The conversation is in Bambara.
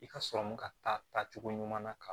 I ka sɔrɔ ka taa cogo ɲuman na ka